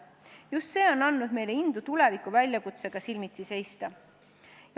Just see on andnud meile indu tuleviku väljakutsetega silmitsi seista.